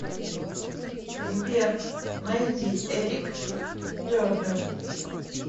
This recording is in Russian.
сбер найди эрик тернер